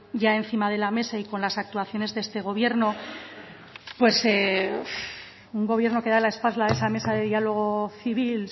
ya encima de la mesa y con las actuaciones de este gobierno pues un gobierno que da la espalda a esa mesa de diálogo civil